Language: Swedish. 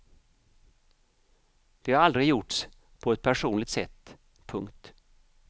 Det har aldrig gjorts på ett personligt sätt. punkt